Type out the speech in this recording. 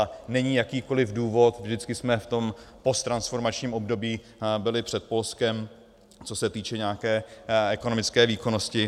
A není jakýkoli důvod - vždycky jsme v tom potransformačním období byli před Polskem, co se týče nějaké ekonomické výkonnosti.